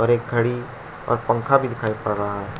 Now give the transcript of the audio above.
और एक घड़ी और पंखा भी दिखाई पड़ रहा है।